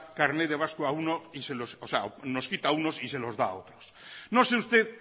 carnet de vasco a uno o sea nos quita a unos y se los da a otros no sé usted